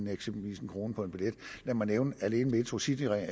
eksempelvis en kroner på en billet lad mig nævne at alene metrocityringen